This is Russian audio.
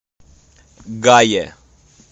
гае